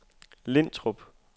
Lintrup